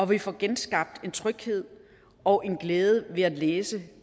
vi får genskabt en tryghed og en glæde ved at læse